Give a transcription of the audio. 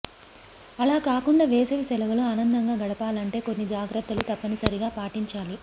అలా కాకుండా వేసవి సెలవులు ఆనందంగా గడపాలంటే కొన్ని జాగ్రత్త లు తప్పనిసరిగా పాటించాలి